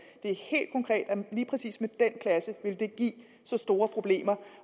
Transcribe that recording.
lige præcis med den klasse vil give så store problemer